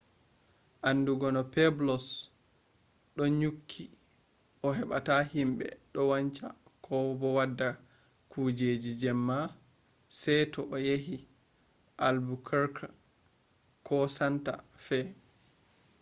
andugo no pueblos do nyukki a hebata himbe do wanca ko do wada kujeji jemma se to a yahi albuquerque ko santa fe